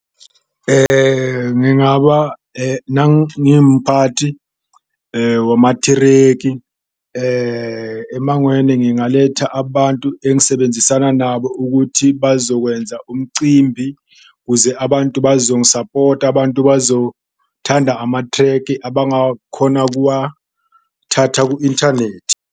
Ngingaba nangimphathi wamathirekhi emangweni ngingaletha abantu engisebenzisana nabo ukuthi bazokwenza umcimbi kuze abantu bazongisapota, abantu bazothanda amathreki abangawakhona ukuwathatha ku-inthanethi.